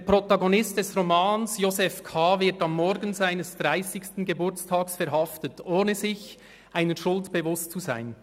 Der Protagonist des Romans, Josef K., wird am Morgen seines 30. Geburtstags verhaftet, ohne sich einer Schuld bewusst zu sein.